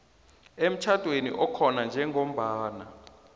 emtjhadweni okhona njengombana